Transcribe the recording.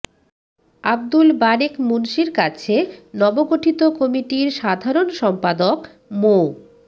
আবদুল বারেক মুন্সীর কাছে নবগঠিত কমিটির সাধারণ সম্পাদক মো